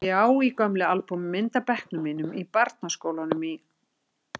Ég á í gömlu albúmi mynd af bekknum mínum í barnaskólanum í